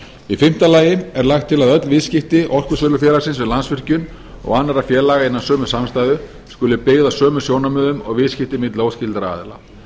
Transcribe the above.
í fimmta lagi er lagt til að öll viðskipti orkusölufélagsins við landsvirkjun og annarra félaga innan sömu samstæðu skuli byggð á sömu sjónarmiðum og viðskipti milli óskyldra aðila